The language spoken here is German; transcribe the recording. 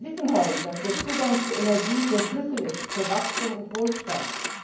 Wir wissen heute, dass der Zugang zu Energie der Schlüssel ist für Wachstum und Wohlstand.